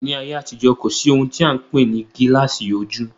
Ní ayé àtijó, kò sí ohun tí a n pè ní gilasi ojú